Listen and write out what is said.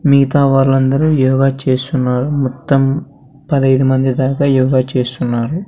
మీతా వాలందరూ యోగ చేస్తున్నారు మొత్తం పదైదు మంది దాకా యోగ చేస్తున్నారు.